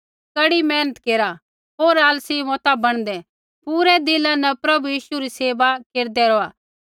कड़ी मेहनत केरा होर आलसी मता बणदै पूरै दिला न प्रभु यीशु री सेवा केरदै रौहा